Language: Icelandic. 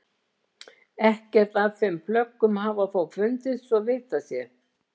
Ekkert af þeim plöggum hafa þó fundist svo að vitað sé.